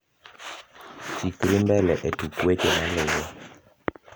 chikri mbele e tuk weche maluo